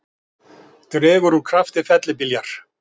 Dregur úr krafti fellibyljar